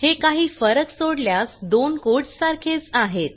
हे काही फरक सोडल्यास दोन कोड्स सारखेच आहेत